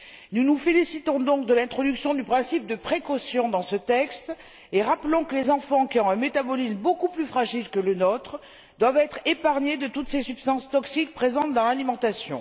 Nous nous félicitons donc de l'introduction du principe de précaution dans ce texte et rappelons que les enfants, qui ont un métabolisme beaucoup plus fragile que le nôtre, doivent être préservés de toutes ces substances toxiques présentes dans l'alimentation.